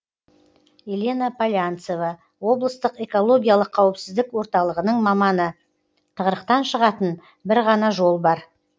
елена полянцева облыстық экологиялық қауіпсіздік орталығының маманы тығырықтан шығатын бір ғана жол бар